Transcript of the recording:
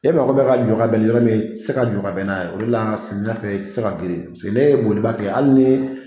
E mago bɛ ka jɔ ka bɛn ni yɔrɔ min ye i tɛ se ka jɔ ka bɛn n'a ye samiyɛ fɛ i tɛ se ka girin ne ye boliba kɛ hali ni